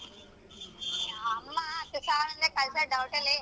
ಅಮ್ಮ ಹತ್ತು ಸಾವ್ರ ಅಂದ್ರೆ ಕಳ್ಸದ್ doubt ಅಲ್ಲೆ.